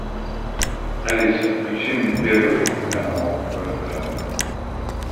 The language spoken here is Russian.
алиса включи мне первый канал орт